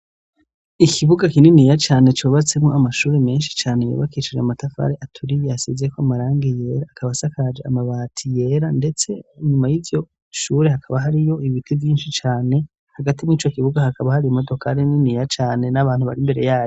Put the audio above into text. ikibuga kininiya cane cubatsemo amashuri menshi cane yubakishije amatafari aturiye asizeko amarangi yera akaba asakaje amabati yera ndetse nyuma y'iryo shure hakaba hariyo ibiti vyinshi cane hagati mw’ico kibuga hakaba hari imodokari niniya cane n'abantu bari mbere yayo